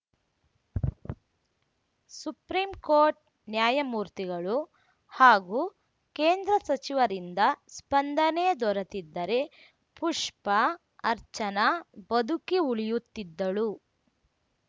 Supreme Court ನ್ಯಾಯಮೂರ್ತಿಗಳು ಹಾಗೂ ಕೇಂದ್ರ ಸಚಿವರಿಂದ ಸ್ಪಂದನೆ ದೊರೆತಿದ್ದರೆ ಪುಷ್ಪಾ ಅರ್ಚನಾ ಬದುಕಿ ಉಳಿಯುತ್ತಿದ್ದಳು